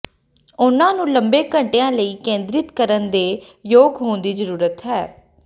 ਉਨ੍ਹਾਂ ਨੂੰ ਲੰਬੇ ਘੰਟਿਆਂ ਲਈ ਕੇਂਦ੍ਰਿਤ ਕਰਨ ਦੇ ਯੋਗ ਹੋਣ ਦੀ ਜ਼ਰੂਰਤ ਹੈ